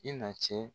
I na cɛ